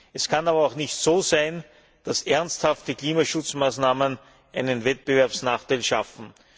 Es kann aber auch nicht sein, dass ernsthafte Klimaschutzmaßnahmen einen Wettbewerbsnachteil schaffen.